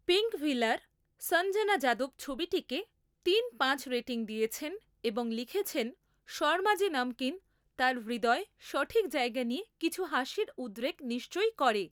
পিঙ্কভিলার সঞ্জনা যাদব ছবিটিকে তিন পাঁচ রেটিং দিয়েছেন এবং লিখেছেন শর্মাজি নমকিন তার হৃদয়ে সঠিক জায়গা নিয়ে কিছু হাসির উদ্রেক নিশ্চয়ই করে।